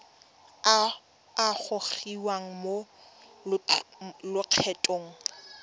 a a gogiwang mo lokgethong